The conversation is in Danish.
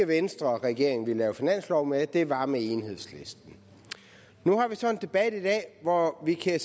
venstre regeringen ville lave finanslov med det var med enhedslisten nu har vi så en debat i dag hvor vi kan